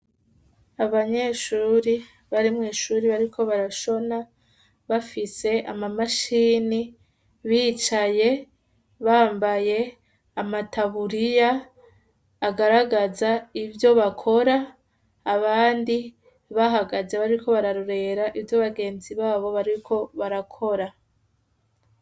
Abanyeshuri barimwo ishuri bariko barashona bafise amamashini bicaye bambaye amataburiya agaragaza ivyo bakora abandi bahagaze bariko bararorera ivyo bagenzi babo bariko barakora.